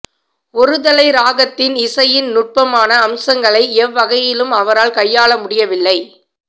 ஒருதலை ராகத்தின் இசையின் நுட்பமான அம்சங்களை எவ்வகையிலும் அவரால் கையாள முடியவில்லை